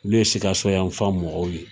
Olu ye Sikasoyafan mɔgɔw ye.